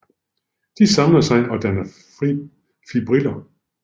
De samler sig og danner fibriller